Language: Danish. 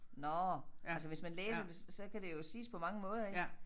Nåh altså hvis man læser det så kan det jo siges på mange måder ik